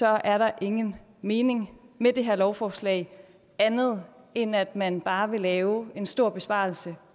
er der ingen mening med det her lovforslag andet end at man bare vil lave en stor besparelse